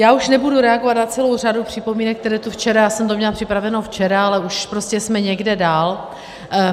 Já už nebudu reagovat na celou řadu připomínek, které tu včera... já jsem to měla připraveno včera, ale už prostě jsme někde dál.